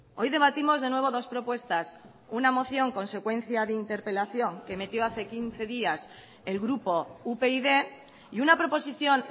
hoy debatimos de nuevo dos propuestas una moción consecuencia de interpelación que metió hace quince días el grupo upyd y una proposición